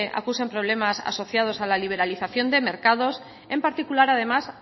acusen problemas asociados a la liberalización de mercados en particular además